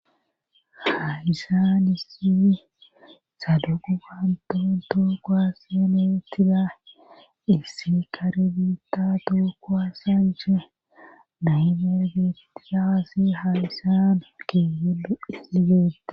hayisan issifi saduguhanton tookoa seenetida issi kare biitta tookko assanche naymergeti daassi hadisan ke helu isligeette